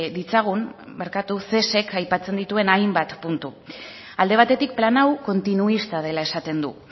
ditzagun cesek aipatzen dituen hainbat puntu alde batetik plan hau kontinuista dela esaten du